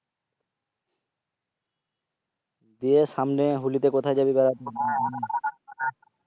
গিয়ে আসলে হলিতে কোথায় যাবি বেরাতে?